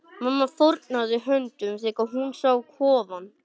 Mamma fórnaði höndum þegar hún sá kofann.